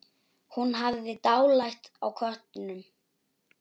Hún hafði dálæti á köttum.